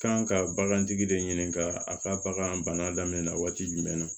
Kan ka bagantigi de ɲininka a ka bagan bana daminɛ waati jumɛn na